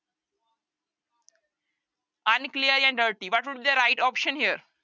unclear ਜਾਂ dirty what would be the right option here